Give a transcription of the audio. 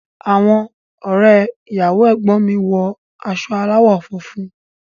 Àwọn ọrẹ ìyàwó ẹgbọn mi wọ aṣọ alawọ funfun.